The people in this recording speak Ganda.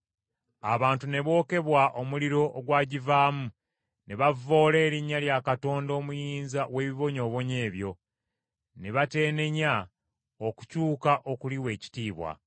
Abantu ne bookebwa omuliro ogwagivaamu ne bavvoola erinnya lya Katonda Omuyinza w’ebibonyoobonyo ebyo, ne bateenenya okukyuka okuliwa ekitiibwa.